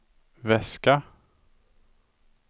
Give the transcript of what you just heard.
väska